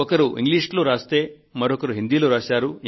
ఒకరు ఇంగ్లీషులో రాస్తే మరొకరు హిందీలో రాశారు